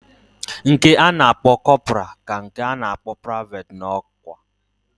Nke ana akpo corporal ka nke ana akpo private na okwa.